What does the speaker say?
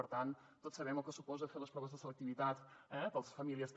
i tots sabem el que suposa fer les proves de selectivitat per a les famílies també